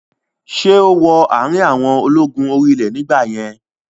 Ṣé ó wọ àrin àwọn ológun orí ilẹ̀ nígbà yẹn?